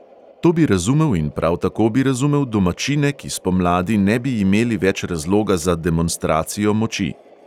To bi razumel in prav tako bi razumel domačine, ki spomladi ne bi imeli več razloga za demonstracijo moči.